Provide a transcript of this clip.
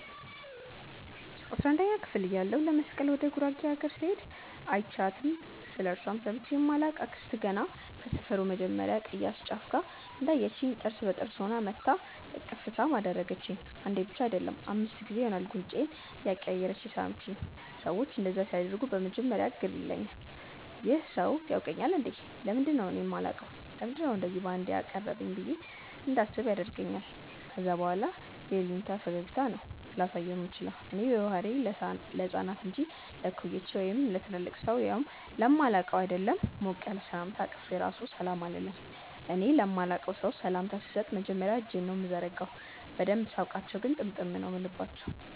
አስራንደኛ ክፍል እያለሁ ለመስቀል ወደ ጉራጌ አገር ስሄድ÷ አይችያትም ስለእርሷም ሰምቼ ማላቅ አክስት ገና ከሰፈሩ መጀመርያ ቅያስ ጫፍ ላይ እንዳየቺኝ ጥርስ በጥርስ ሆና መጥታ እቅፍ ሳም አደረገቺኝ። አንዴ ብቻ አይደለም÷ አምስት ጊዜ ይሆናል ጉንጬን እያቀያየረች የሳመቺኝ። ሰዎች እንደዛ ሲያደርጉ በመጀመርያ ግር ይለኛል- "ይህ ሰው ያውቀኛል እንዴ? ለምንድነው እኔ ማላውቀው? ለምንድነው እንደዚ ባንዴ ያቀረበኝ?" ብዬ እንዳስብም ያደርገኛል ከዛ በኋላ የይሉኝታ ፈገግታ ብቻ ነው ላሳየው ምችለው። እኔ በባህሪዬ ለህፃናት እንጂ ለእኩዮቼ ወይም ለትልቅ ሰው ያውም ለማላውቀው ÷ አይደለም ሞቅ ያለ ሰላምታ አቅፌ ራሱ ሰላም አልልም። እኔ ለማላቀው ሰው ሰላምታ ስሰጥ መጀመርያ እጄን ነው ምዘረጋው። በደንብ ሳውቃቸው ግን ጥምጥም ነው ምልባቸው።